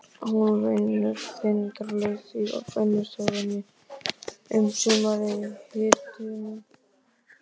Hún vinnur þindarlaust í vinnustofunni um sumarið í hitunum.